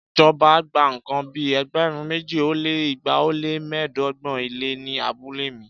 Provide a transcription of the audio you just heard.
Ìjọba gba nǹkan bí ẹgbẹ̀rún méjì ó lé igba ó lé mẹ́ẹ̀ẹ́dọ́gbọ̀n ilẹ̀ ní abúlé mi